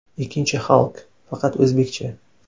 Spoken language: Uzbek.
Ikkinchi Halk, faqat o‘zbekcha.